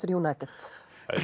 United